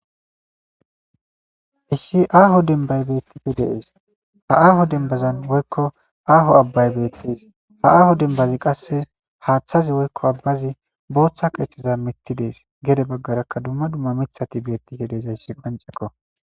Isshi aaho dembay beettipfe dees ha aaho dembazan woykko aaho abbay beettees ha aaho dembazi qasse haaththazi woykko abbazi booththa keeththiza mitti dees gede baggarakka dumma dumma mithati beetti he dezayssi panceqo.